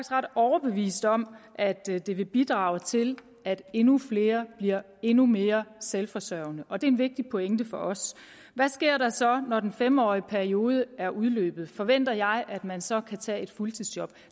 ret overbevist om at det det vil bidrage til at endnu flere bliver endnu mere selvforsørgende og det er en vigtig pointe for os hvad sker der så når den fem årige periode er udløbet forventer jeg at man så kan tage et fuldtidsjob